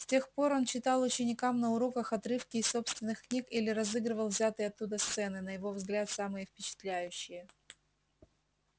с тех пор он читал ученикам на уроках отрывки из собственных книг или разыгрывал взятые оттуда сцены на его взгляд самые впечатляющие